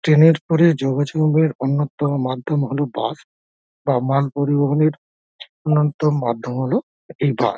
Train -এর পরে যোগাযোগের আনতাম মাধ্যম হলো বাস বা মাল পরিবহনের অন্যতম মাধ্যম হলো এই বাস ।